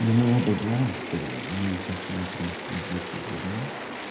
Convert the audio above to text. но мы оба знаем что мы вот сейчас внутри пиздец как горим